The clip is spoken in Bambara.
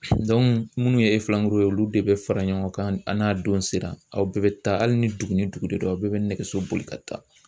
Dɔngu munnu ye Olu de fara ɲɔngɔn kan a n'a don sera olu de bɛ fara ɲɔgɔn kan an n'a don sera aw bɛɛ be taa ali ni dugu ni dugu de di aw bɛɛ be nɛgɛso boli ka taa